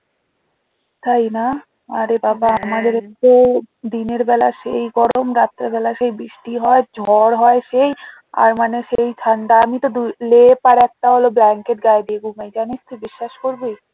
তাই না? আরে বাবা দিনের বেলা সেই গরম রাত্রে বেলা সেই বৃষ্টি হয় ঝড় হয় সেই আর মানে সেই ঠান্ডা আমি তো লেপ আর একটা হলো blanket গায়ে দিয়ে ঘুমাই জানিস তো বিশ্বাস করবি